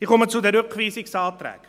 Ich komme zu den Rückweisungsanträgen.